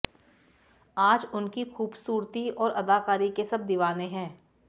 आज उनकी खूबसूरती और अदाकारी के सब दीवाने है